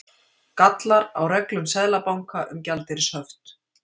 Gallar á reglum Seðlabanka um gjaldeyrishöft